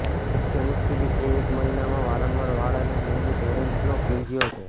મુખ્ય મુશ્કેલી એ એક મહિનામાં વારંવાર વાળ અને નિયમિત હેરંટનો પીંજિયો છે